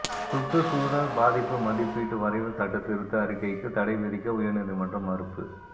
சுற்றுச்சூழல் பாதிப்பு மதிப்பீட்டு வரைவு சட்டத்திருத்த அறிக்கைக்கு தடை விதிக்க உயர்நீதிமன்றம் மறுப்பு